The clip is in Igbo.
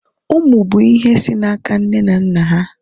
ụmụ bụ ihe si n'aka nne na nna ha